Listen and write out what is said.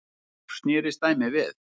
Í ár snerist dæmið við.